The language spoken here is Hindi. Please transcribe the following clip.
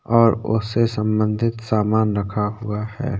और उससे सम्बंधित सामान रखा हुआ है।